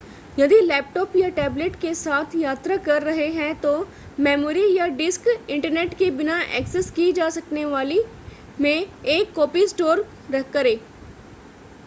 यदि लैपटॉप या टैबलेट के साथ यात्रा कर रहे हैं तो मेमोरी या डिस्क इंटरनेट के बिना एक्सेस की जा सकने वाली में एक कॉपी स्टोर करें